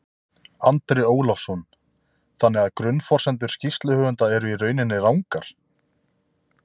Andri Ólafsson: Þannig að grunnforsendur skýrsluhöfunda eru í rauninni rangar?